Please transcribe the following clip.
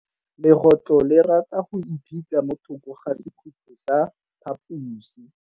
Legôtlô le rata go iphitlha mo thokô ga sekhutlo sa phaposi.